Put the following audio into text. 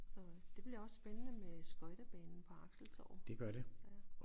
Så øh det bliver også spændende med skøjtebanen på Axeltorvet